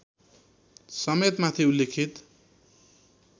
समेत माथि उल्लिखित